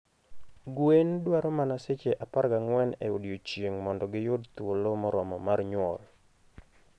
Gwen dwaro mana seche 14 e odiechieng' mondo giyud thuolo moromo mar nyuol.